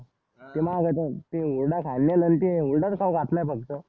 ते माग ते हुरडा खाल्लेलं ते हुरडाच खाऊ घातलंय फक्त.